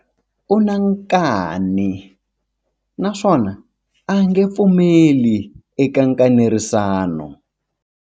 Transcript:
U na nkani naswona a nge pfumeli eka nkanerisano.